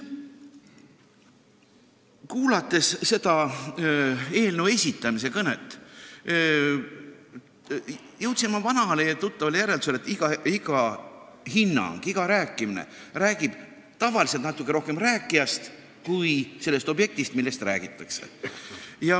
Kuulates eelnõu tutvustavat kõnet, jõudsin ma vanale ja tuttavale järeldusele: iga hinnang, kõik see, mida räägitakse, räägib tavaliselt natuke rohkem rääkijast kui sellest objektist, millest räägitakse.